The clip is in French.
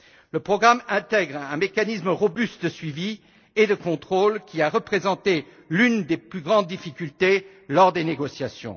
Le programme intègre un mécanisme robuste de suivi et de contrôle qui a représenté l'une des plus grandes difficultés lors des négociations.